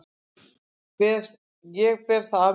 Ég ber það af mér.